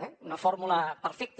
eh una fórmula perfecta